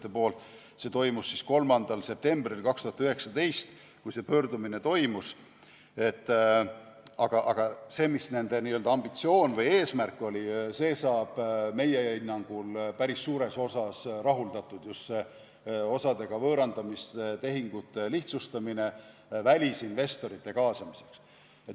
See pöördumine toimus 3. septembril 2019, aga see, mis nende n-ö ambitsioon või eesmärk oli, saab meie hinnangul päris suures osas rahuldatud, just see osa võõrandamise tehingute lihtsustamine välisinvestorite kaasamiseks.